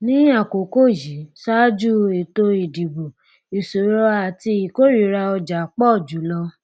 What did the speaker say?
ní àkókò yìí ṣáájú ètò ìdìbò ìṣòro àti ìkórìíra ọjà pọ jù lọ